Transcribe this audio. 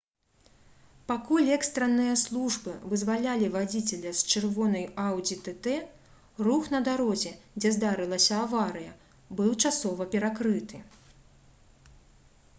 пакуль экстранныя службы вызвалялі вадзіцеля з чырвонай «аудзі tt» рух на дарозе дзе здарылася аварыя быў часова перакрыты